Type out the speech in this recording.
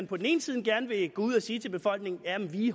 på den ene side gerne vil gå ud og sige til befolkningen at de